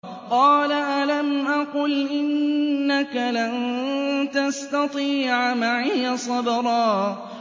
قَالَ أَلَمْ أَقُلْ إِنَّكَ لَن تَسْتَطِيعَ مَعِيَ صَبْرًا